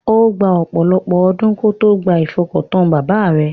Ó gba ọ̀pọ̀lọ̀pọ̀ ọdún kó tó gba ifọkàntán bàbá rẹ̀.